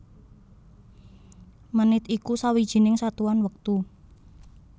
Menit iku sawijining satuan wektu